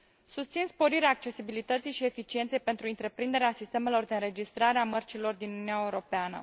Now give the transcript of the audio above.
Susțin sporirea accesibilității și eficienței pentru întreprinderea sistemelor de înregistrare a mărcilor din Uniunea Europeană.